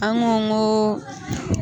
An ko ko ko.